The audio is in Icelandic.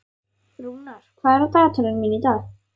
Rúnar, hvað er á dagatalinu mínu í dag?